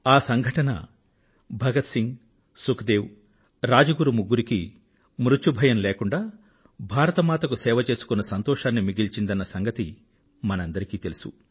ఆ సంఘటన Bhagat Singh Sukhdev Rajguru ముగ్గురికీ మృత్యుభయం లేకుండా భారత మాతకు సేవ చేసుకున్న సంతోషాన్ని మిగిల్చిందన్న సంగతి మనందరికీ తెలుసు